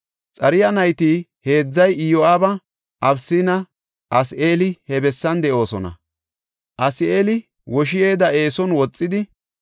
Xaruya nayti heedzay Iyo7aabi, Abisinne Asaheeli he bessan de7oosona; Asaheeli woshi7eda eeson woxidi,